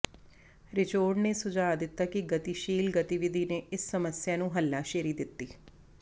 Richard ਨੇ ਸੁਝਾਅ ਦਿੱਤਾ ਕਿ ਗਤੀਸ਼ੀਲ ਗਤੀਵਿਧੀ ਨੇ ਇਸ ਸਮੱਸਿਆ ਨੂੰ ਹੱਲਾਸ਼ੇਰੀ ਦਿੱਤੀ